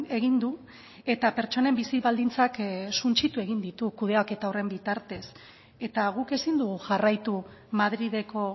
egin du eta pertsonen bizi baldintzak suntsitu egin ditu kudeaketa horren bitartez eta guk ezin dugu jarraitu madrileko